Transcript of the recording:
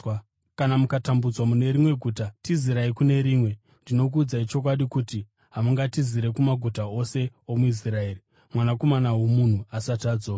Kana mukatambudzwa mune rimwe guta, tizirai kune rimwe. Ndinokuudzai chokwadi kuti hamungatizira kumaguta ose omuIsraeri Mwanakomana woMunhu asati adzoka.